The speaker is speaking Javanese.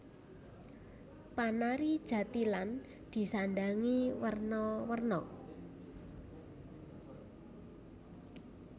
Panari jathilan disandhangi werna werna